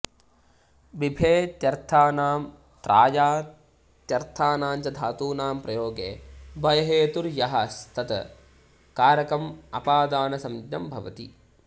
बिभेत्यर्थानां त्रायत्यर्थानां च धातूनां प्रयोगे भयहेतुर् यः स्तत् कारकम् अपादानसंज्ञं भवति